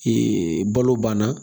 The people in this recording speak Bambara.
balo banna